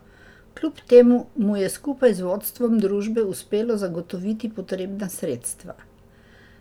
Kljub temu mu je skupaj z vodstvom družbe uspelo zagotoviti potrebna sredstva.